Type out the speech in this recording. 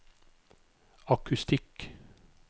akustikk